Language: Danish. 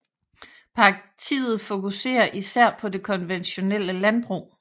Partiet fokuserer især på det konventionelle landbrug